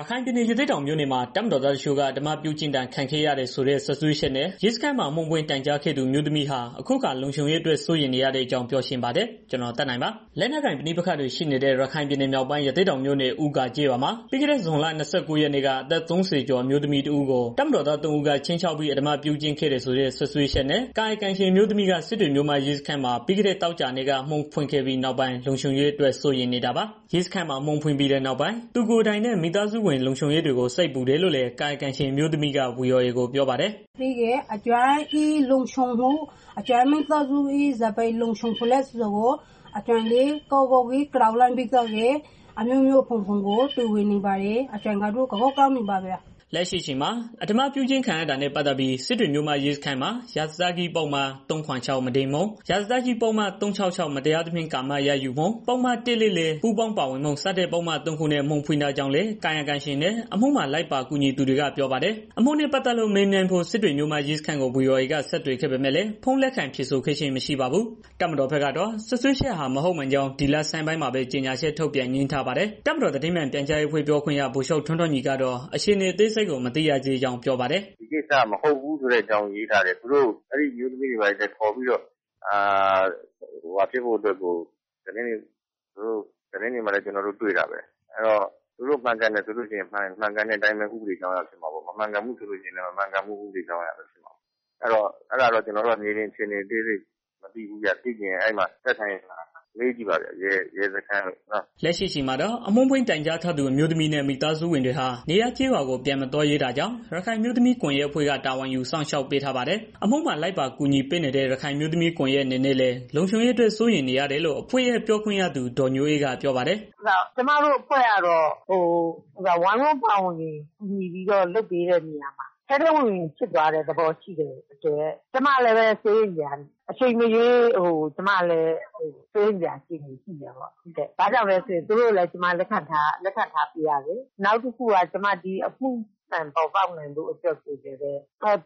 ရခိုင်ပြည်နယ် ရသေ့တောင်မြို့နယ်မှာ တပ်မတော်သားတချို့က အဓမ္မပြုကျင့်ခံခဲ့ရတယ်လို့ဆိုတဲ့ စွပ်စွဲချက်နဲ့ ရဲစခန်းမှာ အမှုဖွင့် တိုင်ကြားခဲ့သူ အမျိုးသမီးဟာ အခုအခါ လုံခြုံရေးအတွက် စိုးရိမ်နေတဲ့အကြောင်း ပြောချင်ပါတယ်။ ဗွီအိုအေမြန်မာပိုင်းသတင်းထောက် ကိုသက်နိုင်က သတင်းပေးပို့ထားပါတယ်။ လက်နက်ကိုင်ပဋိပက္ခတွေ ရှိနေတဲ့ ရခိုင်ပြည်နယ်မြောက်ပိုင်း ရသေ့တောင်မြို့နယ် ဦးဂါကျေးရွာမှာ ပြီးခဲ့တဲ့ ဇွန်လ ၂၉ ရက်နေ့က အသက် ၃၀ ကျော် အမျိုးသမီးတစ်ဦးကို တပ်မတော်သားသုံးဦးက ခြိမ်းခြောက်ပြီး အဓမ္မပြုကျင့်ခဲ့တယ်ဆိုတဲ့ စွပ်စွဲချက်နဲ့ ကာယကံရှင်အမျိုးသမီးက စစ်တွေမြို့မရဲစခန်းမှာ ပြီးခဲ့တဲ့ သောကြာနေ့က အမှုဖွင့်ခဲ့ပြီးနောက်ပိုင်း လုံခြုံရေးအတွက် စိုးရိမ်နေတာပါ။ ရဲစခန်းမှာ အမှုဖွင့်ပြီးနောက်ပိုင်း သူကိုယ်တိုင်နဲ့ မိသားစုလုံခြုံရေးကို စိတ်ပူတယ်လို့လည်း ကာယကံရှင်အမျိုးသမီးက ဗွီအိုအေကို ပြောပါတယ်။ "ကျမရဲ့လုံခြုံမှု ကျမမိသားစုရဲ့ ဘယ်လိုလုံခြုံမလဲဆိုတာကို ကျမတော်တော်ကြောက်လန့်ပြီးတော့ အမျိုးမျိုး တွေးနေမိတယ်။ ကျမတော့ အရမ်းကြောက်နေပါပြီ။" လက်ရှိအချိန်မှာ အဓမ္မပြုကျင့်ခံရတာနဲ့ ပတ်သတ်ပြီး စစ်တွေမြို့မ ရဲစခန်းမှာ ရာဇသတ်ကြီး ပုဒ်မ ၃၇၆ မုဒိန်းမှု၊ ရာဇသတ်ကြီး ပုဒ်မ ၃၆၆ မတရားသဖြင့် ကာမစပ်ယှက်မှု၊ ပုဒ်မ ၁၄၄ ပူးပေါင်းပါဝင်မှု စတဲ့ ပုဒ်နဲ့ သုံးခုနဲ့ အမှုဖွင့်ထားကြောင်းလည်း ကာယကံရှင်နဲ့ အမှုမှာ လိုက်ပါ ကူညီနေသူတွေက ပြောပါတယ်။ အမှုနဲ့ ပတ်သတ်လို့ မေးမြန်းဖို့ စစ်တွေမြို့မရဲစခန်းကို ဗွီအိုအေက ဆက်သွယ်ခဲ့ပေမဲ့လည်း ဖုန်းလက်ခံဖြေဆိုခဲ့ခြင်း မရှိပါဘူး။ တပ်မတော်ဘက်ကတော့ စွပ်စွဲချက်ဟာ မဟုတ်မှန်ကြောင်း ဒီလဆန်းမှာပဲ ကြေညာချက်ထုတ်ပြန် ငြင်းဆန်ထားပါတယ်။ တပ်မတော်သတင်းမှန် ပြန်ကြားရေးအဖွဲ့ ပြောခွင့်ရ ဗိုလ်ချုပ် ထွန်းထွန်းညီကတော့ အခြေအနေအသေးစိတ်ကို မသိရသေးကြောင်း ပြောပါတယ်။ "ကျနော်တို့က ဒီကိစ္စ မဟုတ်ဘူးဆိုပြီးတော့ ရေးထားတယ်။ အဲအမျိုးသမီးကို ခေါ်ပြီးတော့ သတင်းတွေဘာ တွေမှာလည်း ကျနော်တို့ တွေ့တာပဲ။ သူတို့မှန်ကန်တယ်ဆိုရင် မှန်ကန်တဲ့အတိုင်း ဥပဒေကြောင်းအရဖြစ်မှာပေါ့။ မမှန်ကန် ဘူးဆိုရင်လည်း မမှန်ကန်တဲ့ဥပဒေကြောင်းရပဲဖြစ်မှာပေါ့။ ကျနော်တို့ကတော့ မြေပြင်အခြေအနေ အသေးစိတ်မသိဘူးဗျ။သိချင်ရင်တော့ သက်ဆိုင်ရာ ရဲစခန်းတွေကို မေးကြည့်ပေါ့နော်။" လက်ရှိအချိန်မှာတော့ အမှုဖွင့်တိုင်ကြားထားသူ အမျိုးသမီးနဲ့ မိသားစုဝင်တွေဟာ နေရပ်ကျေးရွာကို ပြန်မသွားရဲတာကြောင့် ရခိုင်အမျိုးသမီး ကွန်ရက်အဖွဲ့က တာဝန်ယူ စောင့်ရှောက်ထားပါတယ်။ အမှုမှာ လိုက်ပါကူညီပေးနေတဲ့ ရခိုင်အမျိုးသမီးကွန်ယက် အနေနဲ့လည်း လုံခြုံရေးအတွက် စိုးရိမ်နေရတယ်လို့ အဖွဲ့ရဲ့ ပြောခွင့်ရသူ ဒေါ်ညိုအေးက ပြောပါတယ်။ "ကျမတို့အဖွဲ့ကတော့ ပါဝင်ကူညီပြီးတော့ လုပ်ပေးတဲ့နေရာမှာ ထဲထဲဝင်ဝင်ဖြစ်သွားတဲ့ သဘောရှိတယ်။ အချိန်မရွေး ကျမလည်း စိုးရိမ်စရာ အခြေအနေရှိတယ်ပေါ့။ ဘာကြောင့်လဲဆိုတော့ သူတို့ကိုလည်း ကျမ လက်ခံထားပေးရတယ်။ နောက်တစ်ခုက အမှုမှန်ပေါ်ပေါက်ဖို့အတွက်ကို ကျမက ဝင်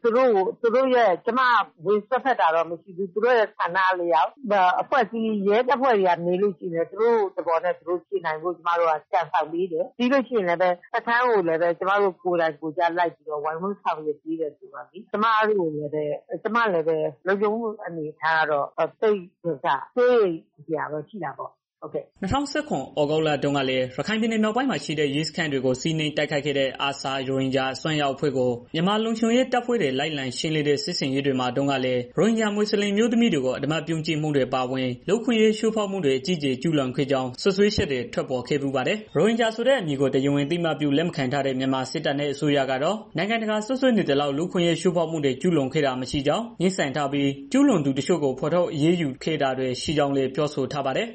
စွပ်ဖက်တာ တော့မရှိဘူး ရဲတပ်ဖွဲ့ကမေးလို့ရှိရင် သူတို့သဘောနဲ့ သူတို့ဖြေနိုင်ဖို့ ကြံဆောင်ပေးတယ်။ ပြီးတော့ စခန်းကိုလည်း ကျမတို့ ကိုယ်တိုင်လိုက်ပြီးတော့ ဆောင်ရွက်ပေးတယ်။ ဆိုတော့ ကျမရဲ့ လုံခြုံရေးအနေအထားကလည်း စိုးရိမ်စရာတော့ ရှိတာပေါ့။" ၂၀၁၇ သြဂုတ်လတုန်းက ရခိုင်ပြည်နယ် မြောက်ပိုင်းမှာရှိတဲ့ ရဲကင်းစခန်းတွေကို စီးနင်းတိုက်ခိုက်ခဲ့တဲ့ ARSA ရိုဟင်ဂျာ အစွန်းရောက် အဖွဲ့ကို မြန်မာလုံခြုံရေးတပ်ဖွဲ့တွေ လိုက်လံရှင်းလင်းတဲ့ စစ်ဆင်ရေးတွေမှာတုန်းကလည်း ရိုဟင်ဂျာ မွတ်စလင် အမျိုးသမီးတွေကို အဓမ္မ ပြုကျင့်မှုတွေ အပါအဝင် လူ့အခွင့်အရေး ချိုးဖောက်မှုတွေ အကြီးအကျယ် ကျုးလွန်ခဲ့ကြောင်း စွပ်စွဲချက်တွေ ထွက်ပေါ်ခဲ့ဖူးပါတယ်။ ရိုဟင်ဂျာဆိုတဲ့ အမည်ကို တရားဝင် အသိအမှတ်ပြု လက်ခံမထားတဲ့ မြန်မာစစ်တပ်နဲ့ အစိုးရကတော့ နိုင်ငံတကာက စွပ်စွဲနေသလောက် လူ့အခွင့်အရေး ချိုးဖောက်မှုတွေ ကျုးလွန်ခဲ့တာ မရှိကြောင်း ငြင်းဆန်ထားပြီး၊ ကျုးလွန်သူတချို့ကို ဖော်ထုတ်အရေးယူခဲ့တာတွေ ရှိခဲ့ကြောင်းလည်း ပြောဆိုထားပါတယ်